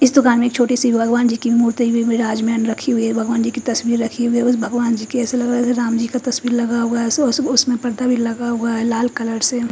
इस दुकान में छोटी सी भगवान् जी की मूर्ति में ताज पहन रखी हुई है भगवान जी की तस्वीर रखी हुई है भगवान् जी के ऐसा लग रहा है जैसा राम जी का तस्वीर लगा हुआ है सॉस उसमे परदा भी लगा हुआ है लाल कलर से--